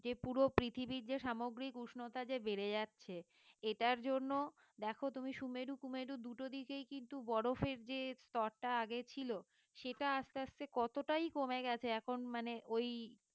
যে পুরো পৃথিবীর যে সামগ্রিক উষ্ণতা যে বেড়ে যাচ্ছে এটার জন্য দেখো তুমি সুমেরু কুমেরু দুটো দিকেই কিন্তু বরফের যে স্তরটা আগে ছিল সেটা আস্তে আস্তে কতটাই কমে গেছে এখন মানে ওই